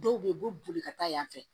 Dɔw bɛ yen u bɛ boli ka taa yan fɛ